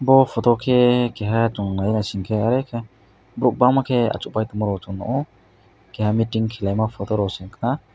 o poto khe keha tanglaisingsa are ke borok bangma ke asuk bai tongmorok keha meeting khelaima poto rok se wngha na.